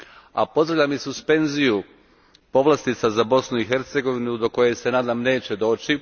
A pozdravljam i suspenziju povlastica za Bosnu i Hercegovinu do koje se nadam neće doći.